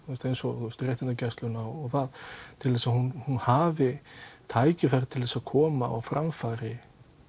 eins og réttindagæsluna og það til þess að hún hafi tækifæri til þess að koma á framfæri